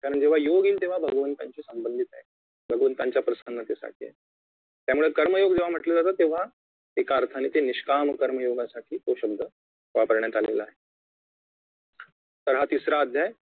कारण जेव्हा योग येईल तेव्हा भगवंताशी संबंधित आहे भगवंताच्या प्रसन्नतेसाठी आहे त्यामुळे कर्मयोग जेव्हा म्हंटले जाते तेव्हा एका अर्थाने निष्काम कर्मयोगासाठी तो शब्द वापरण्यात आलेला आहे तर हा तिसरा अध्याय